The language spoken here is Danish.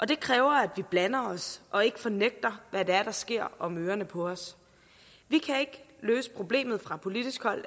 det kræver at vi blander os og ikke fornægter hvad der sker om ørerne på os vi kan ikke løse problemet fra politisk hold